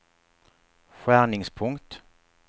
skärningspunkt